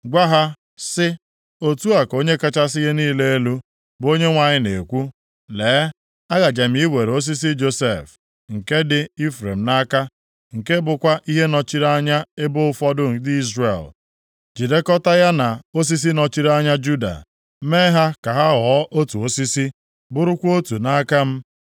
gwa ha, sị, ‘Otu a ka Onye kachasị ihe niile elu, bụ Onyenwe anyị na-ekwu: Lee, agaje m iwere osisi Josef, nke dị Ifrem nʼaka, nke bụkwa ihe nọchiri anya ebo ụfọdụ ndị Izrel, jidekọtaa ya na osisi nọchiri anya Juda, mee ha ka ha ghọọ otu osisi, bụrụkwa otu nʼaka m.’